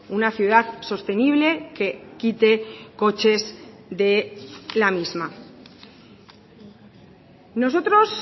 una ciudad sostenible que quite coches de la misma nosotros